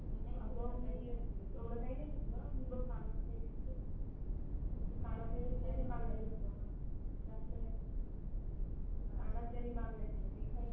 अग मी एवढ काही नाही घेतलं कानातले घेतले कानातले घेतले आणि बांगळ्या घेतल्या बस जास्त काही नाही कानातले आणि बांगळ्या